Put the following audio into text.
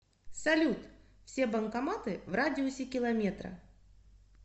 салют все банкоматы в радиусе километра